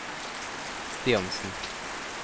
Stiansen